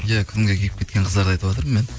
иә күнге күйіп кеткен қыздарды айтыватырмын мен